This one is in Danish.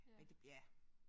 Men det ja